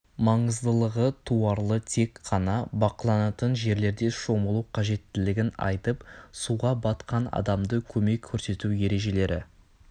маңыздылығы туарлы тек қана бақыланатын жерлерде шомылу қажеттілігін айтып суға батқан адамға көмек көрсету ережелері